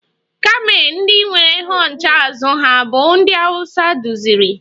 Kamel ndị nwere hunched azụ ha bụ ndị Hausa duziri.